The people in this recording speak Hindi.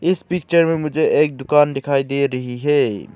इस पिक्चर में मुझे एक दुकान दिखाई दे रही है।